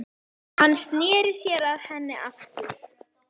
Hann sneri sér að henni aftur.